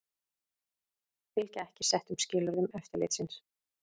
Fylgja ekki settum skilyrðum eftirlitsins